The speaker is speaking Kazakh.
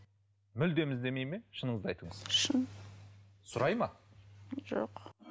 мүлдем іздемей ме шыныңызды айтыңыз шын сұрай ма жоқ